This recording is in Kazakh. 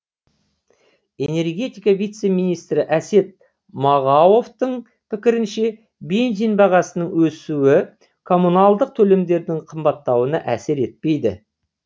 энергетика вице министрі әсет мағауовтың пікірінше бензин бағасының өсуі коммуналдық төлемдердің қымбаттауына әсер етпейді